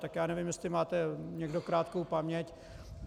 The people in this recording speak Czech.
Tak já nevím, jestli máte někdo krátkou paměť.